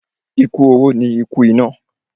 Ikú oró ni ikú ìná.